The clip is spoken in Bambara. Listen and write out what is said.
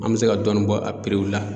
An bɛ se ka dɔɔni bɔ a la